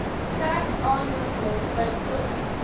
sterk aanbeveel bykomend